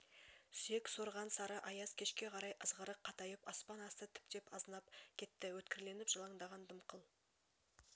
сүйек сорған сары аяз кешке қарай ызғырық қатайып аспан асты тіптен азынап кетті өткірленіп жалаңдаған дымқыл